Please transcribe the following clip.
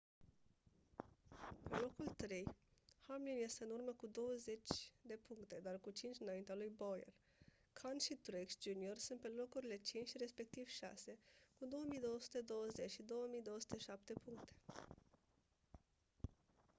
pe locul trei hamlin este în urmă cu douăzeci de puncte dar cu cinci înaintea lui bowyer kahne și truex jr sunt pe locurile cinci și respectiv șase cu 2220 și 2207 puncte